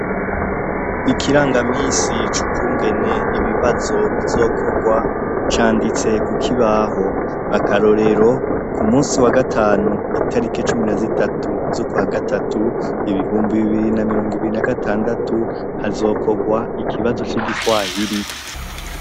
Ikirangamisi c'ukungene ibibazo bizokorwa, canditse ku kibaho. Akarorero, ku musi wa gatanu itarike cumi na zitatu z'ukwa gatatu, ibihumbi bibiri na mirongo ibiri na gatandatu, hazokorwa ikibazo c'igiswahiri.